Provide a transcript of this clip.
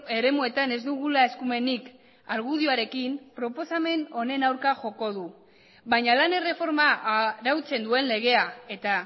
eremuetan ez dugula eskumenik argudioarekin proposamen honen aurka joko du baina lan erreforma arautzen duen legea eta